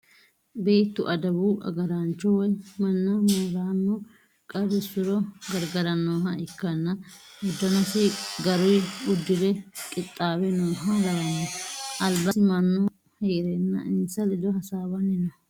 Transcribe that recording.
Beettu adawu agaraancho woyi manna moorano qarrisuro garigarannoha ikkanna uddanosi garuyi uddure qixaawe nooha lawanno. Albasii mannu heerenna insa ledono hasaawanni no.